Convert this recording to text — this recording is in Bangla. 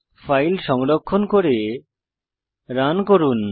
ফাইল সংরক্ষণ করে রান করুন